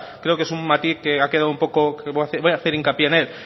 creo que es un matiz que ha quedado un poco voy a hacer hincapié en él